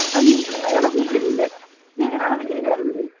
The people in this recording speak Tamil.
அது எப்படின்னுதான் எனக்கும் தெரியலை நீங்க என்ன நினைக்கிறீங்க ராஜதுரை